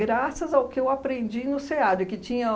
ao que eu aprendi no SEAD, que tinha